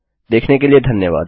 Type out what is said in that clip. देखने के लिए धन्यवाद